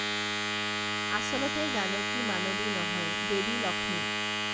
আচলতে জানকী মানৱী নহয় দেৱী লক্ষ্মী